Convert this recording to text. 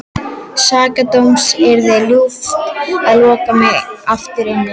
Sakadóms yrði ljúft að loka mig aftur inni.